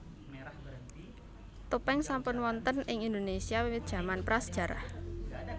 Topéng sampun wonten ing Indonesia wiwit jaman pra sejarah